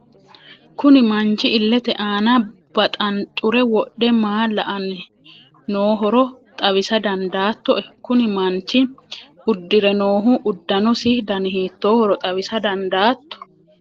kuni manchi illete aana baxanxure wodhe maa la'anni noohoro xawisa dandaattoe? kuni manchi uddire noohu uddanosi dani hiittoohoro xawisa dandaatto?